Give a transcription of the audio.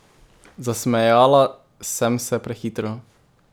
Zasmejala sem se prehitro.